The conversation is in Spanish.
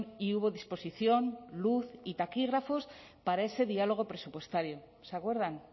y hubo disposición luz y taquígrafos para ese diálogo presupuestario se acuerdan